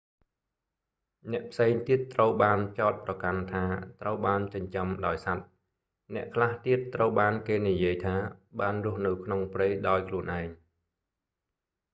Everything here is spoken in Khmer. អ្នកផ្សេងទៀតត្រូវបានចោទប្រកាន់ថា ត្រូវបានចិញ្ចឹមដោយសត្វ អ្នកខ្លះទៀតត្រូវបានគេនិយាយថា បានរស់នៅក្នុងព្រៃដោយខ្លួនឯង